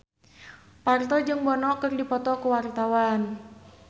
Parto jeung Bono keur dipoto ku wartawan